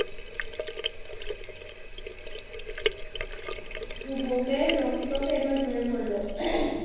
যুবকের রক্ত কোনো ঝরে পড়লো?